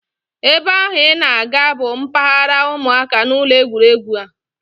Ebe ahụ I na-aga bụ mpaghara ụmụaka n'ụlọ egwuregwu a